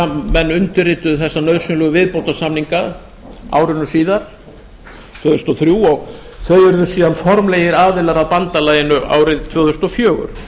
menn undirrituðu þessa nauðsynlegu viðbótarsamninga ári síðar tvö þúsund og þrjú og þeir urðu síðan formlegir aðilar að bandalaginu árið tvö þúsund og fjögur